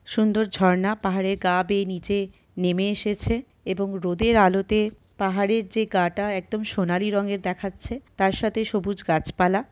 সুন্দর ঝর্ণা পাহাড়ের গা বেয়ে নিচে নেমে এসেছে। এবং রোদের আলোতে পাহাড়ের যে গাটা একদম সোনালী রঙের দেখাচ্ছে তার সাথে সবুজ গাছপালা --